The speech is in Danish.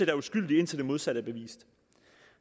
er uskyldige indtil det modsatte er bevist